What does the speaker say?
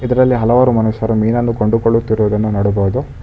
ಇದರಲ್ಲಿ ಹಲವಾರು ಮನುಷ್ಯರು ಮೀನನ್ನು ಕೊಂಡುಕೊಳ್ಳುತ್ತಿರುವುದನ್ನು ನೋಡಬಹುದು.